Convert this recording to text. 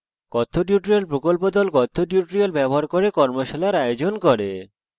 কথ্য tutorial প্রকল্প the কথ্য tutorial ব্যবহার করে কর্মশালার আয়োজন করে